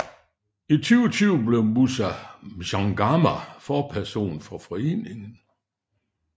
I 2020 blev Moussa Mchangama forperson for foreningen